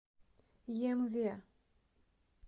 емве